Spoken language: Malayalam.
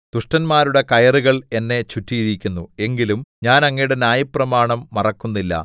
ദുഷ്ടന്മാരുടെ കയറുകൾ എന്നെ ചുറ്റിയിരിക്കുന്നു എങ്കിലും ഞാൻ അങ്ങയുടെ ന്യായപ്രമാണം മറക്കുന്നില്ല